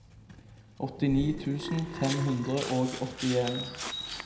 åttini tusen fem hundre og åttien